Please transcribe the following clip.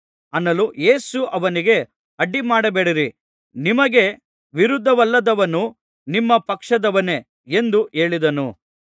ಯೇಸು ಅವನಿಗೆ ಅಡ್ಡಿಮಾಡಬೇಡಿರಿ ನಿಮಗೆ ವಿರುದ್ಧವಲ್ಲದವನು ನಿಮ್ಮ ಪಕ್ಷದವನೇ ಎಂದು ಹೇಳಿದನು